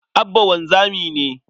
Abba wanzami ne.